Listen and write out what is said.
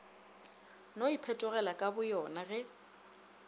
no iphetogela ka boyona ge